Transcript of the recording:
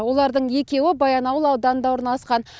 олардың екеуі баянауыл ауданында орналасқан